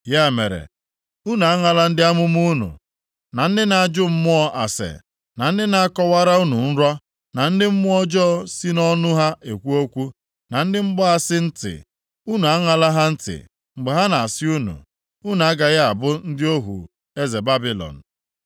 Ya mere, unu aṅala ndị amụma unu, na ndị na-ajụ mmụọ ase, na ndị na-akọwara unu nrọ, na ndị mmụọ ọjọọ si nʼọnụ ha ekwu okwu, na ndị mgbaasị ntị. Unu aṅala ha ntị mgbe ha na-asị unu, ‘Unu agaghị abụ ndị ohu eze Babilọn.’